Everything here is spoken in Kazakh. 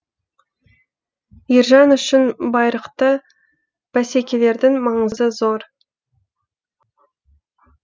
ержан үшін байрақты бәсекелердің маңызы зор